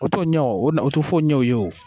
O t'o ɲɛ o o na o to fɔyi ɲɛ o ye o